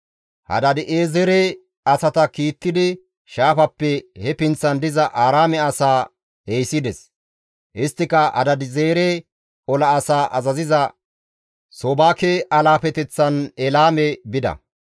Hadaadi7eezere asata kiittidi shaafappe he pinththan diza Aaraame asaa ehisides; isttika Hadaadi7eezere ola asaa azaziza Soobake alaafeteththan Elaame bida.